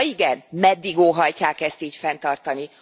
Ha igen, meddig óhajtják ezt így fenntartani?